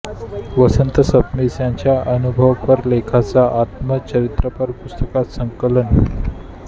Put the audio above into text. वसंत सबनीस यांच्या अनुभवपर लेखांचे आत्मचरित्रपर पुस्तकात संकलन